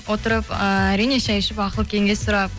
отырып ы әрине шәй ішіп ақыл кеңес сұрап